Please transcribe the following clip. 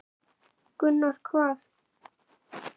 Gunnar: Hvað?